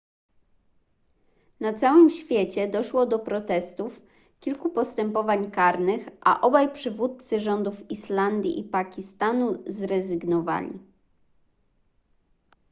na całym świecie doszło do protestów kilku postępowań karnych a obaj przywódcy rządów islandii i pakistanu zrezygnowali